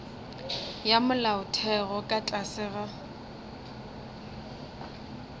ya molaotheo ka tlase ga